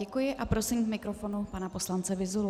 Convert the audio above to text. Děkuji a prosím k mikrofonu pana poslance Vyzulu.